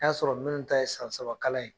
N'i y'a sɔrɔ minnu ta ye san saba kalan ye